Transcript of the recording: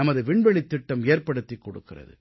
நமது விண்வெளித் திட்டம் ஏற்படுத்திக் கொடுக்கிறது